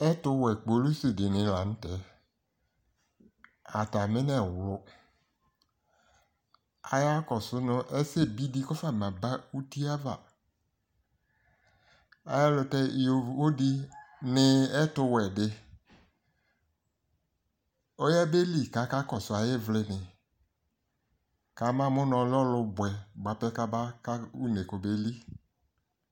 ɛto wɛ kpolusi di ni lantɛ atami nɛwlo aya kɔso no ɛsɛ bi di kɔfa ma ba utie ava ɛlotɛ yovo di ni ɛto wɛ di ɔya be li ko aka kɔso ayi ivli ni ko ama mo no ɔlɛ ɔlo boɛ boa pɛ ko aba ka une ko obe li